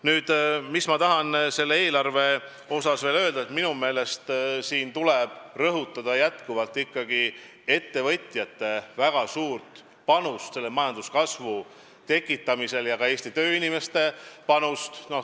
Nüüd, ma tahan selle eelarve kohta öelda veel seda, et minu meelest tuleb rõhutada ettevõtjate väga suurt panust majanduskasvu tekitamisel ja ka Eesti tööinimeste panust.